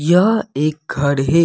यह एक घर है।